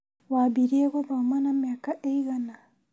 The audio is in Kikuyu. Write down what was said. Wambirie gũthoma na mĩaka ĩigana